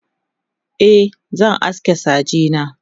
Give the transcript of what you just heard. e zan aske saje na